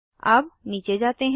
अब नीचे जाते हैं